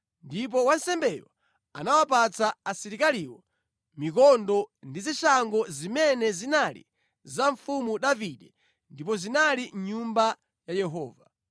Ndipo wansembeyo anawapatsa asilikaliwo mikondo ndi zishango zimene zinali za mfumu Davide ndipo zinali mʼNyumba ya Yehova.